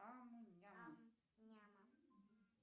ам ням